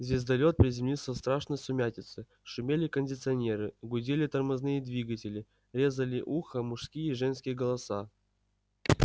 звездолёт приземлился в страшной сумятице шумели кондиционеры гудели тормозные двигатели резали ухо мужские и женские голоса